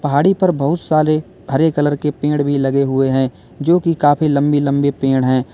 पहाड़ी पर बहुत सारे हरे कलर के पेड़ भी लगे हुए हैं जो की काफी लंबी लंबे पेड़ है।